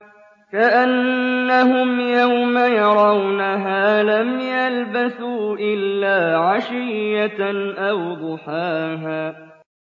كَأَنَّهُمْ يَوْمَ يَرَوْنَهَا لَمْ يَلْبَثُوا إِلَّا عَشِيَّةً أَوْ ضُحَاهَا